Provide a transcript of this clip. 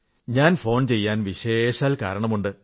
ഞാൻ ഫോൺ ചെയ്യാൻ വിശേഷാൽ കാരണമുണ്ട്